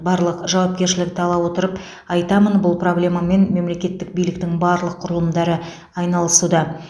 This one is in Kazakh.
барлық жауапкершілікті ала отырып айтамын бұл проблемамен мемлекеттік биліктің барлық құрылымдары айналысуда